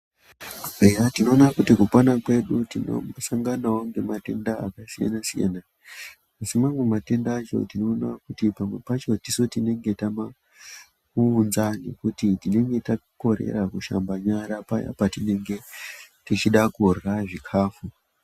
Tinoona kuti nekupanda kwedu tinoona matenda akasiyana siyana asi amweni matenda tinoona kuti tese tinenge tamaunza nekuti tinenge takorera kushamba nyara paya patinenge tichida kurya zvakanaka.